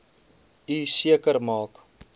u seker maak